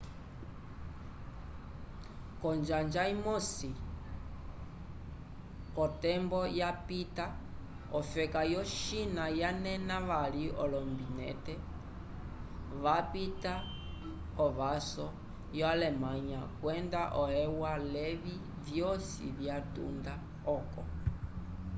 konjanja imosi kotembo yapita ofeka yo china vanena vali olombinente vapita kovaso yo alemanya kwenda e u a levi vyosi vyatunda oko